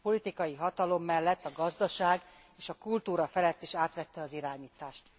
A politikai hatalom mellett a gazdaság és a kultúra felett is átvette az irányítást.